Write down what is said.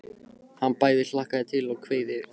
Hann bæði hlakkaði til og kveið fyrir.